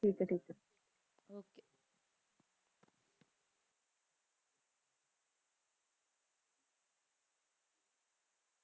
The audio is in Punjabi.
ਠੀਕ ਆਯ ਠੀਕ ਆਯ